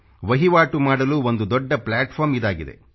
ವಹಿವಾಟು ಮಾಡಲು ಒಂದು ದೊಡ್ಡ ಪ್ಲಾಟ್ಫಾರ್ಮ್ ಇದಾಗಿದೆ